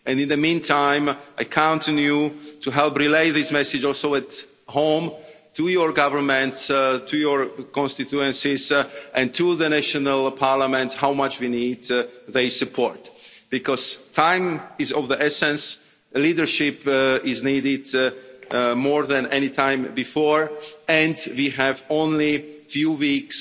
In the meantime, I count on you to help relay the message, also at home to your governments, to your constituencies and to the national parliaments, as to how much we need their support, because time is of the essence, leadership is needed more than any time before, and we have only a few weeks